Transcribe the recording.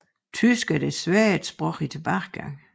Tysk er desværre et sprog i tilbagegang